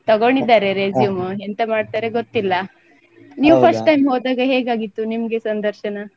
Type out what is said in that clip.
ತಗೊಂಡಿದ್ದಾರೆ resume ಎಂತ ಮಾಡ್ತಾರೆ ಗೊತ್ತಿಲ್ಲ. ನೀವ್ first time ಹೋದಾಗ ಹೇಗಾಗಿತ್ತು ನಿಮ್ಗೆ ಸಂದರ್ಶನ?